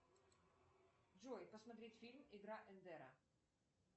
джой посмотреть фильм игра эндера